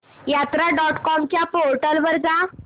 यात्रा dot com च्या portal वर जा